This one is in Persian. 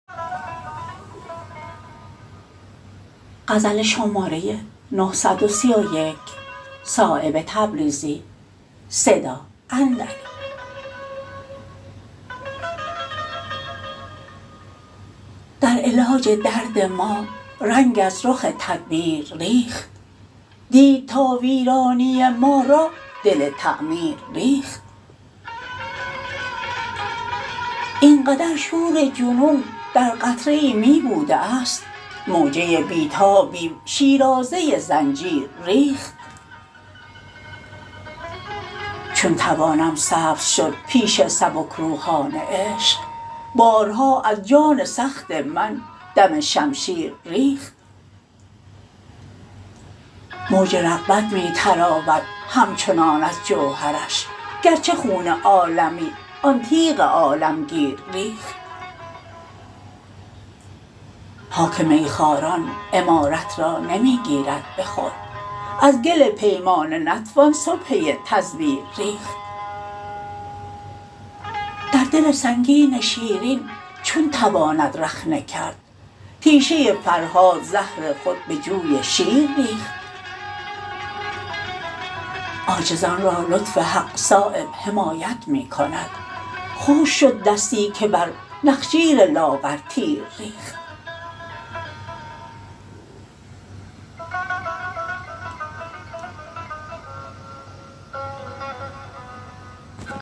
در علاج درد ما رنگ از رخ تدبیر ریخت دید تا ویرانی ما را دل تعمیر ریخت این قدر شور جنون در قطره ای می بوده است موجه بی تابیم شیرازه زنجیر ریخت چون توانم سبز شد پیش سبکروحان عشق بارها از جان سخت من دم شمشیر ریخت موج رغبت می تراود همچنان از جوهرش گرچه خون عالمی آن تیغ عالمگیر ریخت خاک میخواران عمارت را نمی گیرد به خود از گل پیمانه نتوان سبحه تزویر ریخت در دل سنگین شیرین چون تواند رخنه کرد تیشه فرهاد زهر خود به جوی شیر ریخت عاجزان را لطف حق صایب حمایت می کند خشک شد دستی که بر نخجیر لاغر تیر ریخت